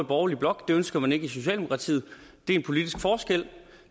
borgerlige blok det ønsker man ikke i socialdemokratiet det er en politisk forskel